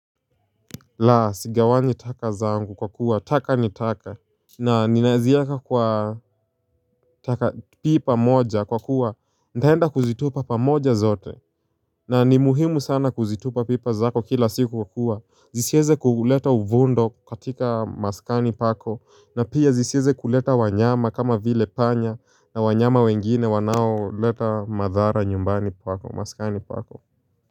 La, sigawanyi itaka zangu kwa kuwa, taka nitaka na ninaazieka kwa taka pipa moja kwa kuwa, ntaenda kuzitupa pamoja zote na ni muhimu sana kuzitupa pipa zako kila siku kwa kuwa Zisieze kuleta uvundo katika maskani pako na pia zisieze kuleta wanyama kama vile panya na wanyama wengine wanao leta madhara nyumbani pako, maskani pako.